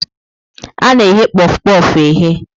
A na-eghe kpof kpof eghe.